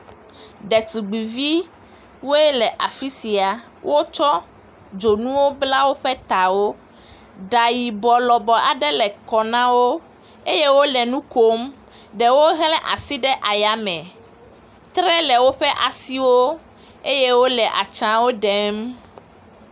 Ɖetugbuiviwoe le afi sia, wotsɔ dzonuwo bla woƒe tawo, ɖa yibɔ lɔbɔ aɖe le kɔ na wo eye wole nu kom, ɖewo hle asi ɖe aya me, tre le woƒe asiwo eye wole atsawo ɖem.